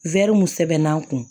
mun sɛbɛn'an kun